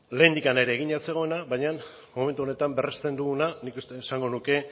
lehendik ere egina zegoena baina momentu honetan berresten duguna nik esango nuke